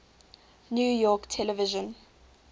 new york television